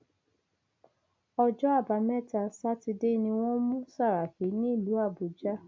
ọjọ àbámẹta sátidé ni wọn mú sàràkí nílùú àbújá